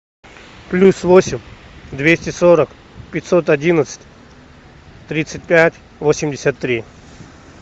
плюс восемь двести сорок пятьсот одиннадцать тридцать пять восемьдесят три